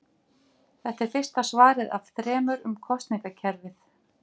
Þetta er fyrsta svarið af þremur um kosningakerfið.